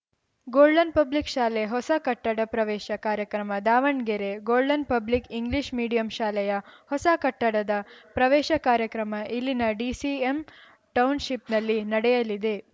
golden public ಶಾಲೆ ಹೊಸ ಕಟ್ಟಡ ಪ್ರವೇಶ ಕಾರ್ಯಕ್ರಮ Davanagere golden public English medium ಶಾಲೆಯ ಹೊಸ ಕಟ್ಟಡದ ಪ್ರವೇಶ ಕಾರ್ಯಕ್ರಮ ಇಲ್ಲಿನ ಡಿಸಿಎಂ ಟೌನ್‌ಶಿಪ್‌ನಲ್ಲಿ ನಡೆಯಲಿದೆ